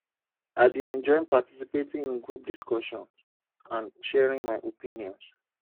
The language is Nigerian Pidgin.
i dey enjoy participating in group discussions and sharing my opinions